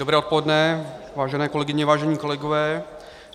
Dobré odpoledne, vážené kolegyně, vážení kolegové.